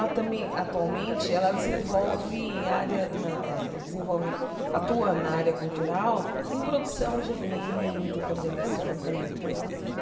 atualmente, ela desenvolve área na eh desenvolve atua na área cultural em produção de evento, coordenação também, tanto quanto eu.